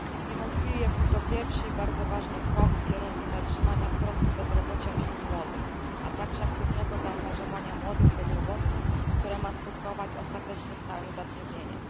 Niewątpliwie był to pierwszy i bardzo ważny krok w kierunku zatrzymania wzrostu bezrobocia wśród młodych, a także aktywnego zaangażowania młodych bezrobotnych, które ma skutkować ostatecznie stałym zatrudnieniem.